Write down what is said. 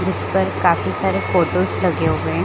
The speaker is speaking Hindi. जिस पर काफी सारे फोटोस लगे हुए हैं।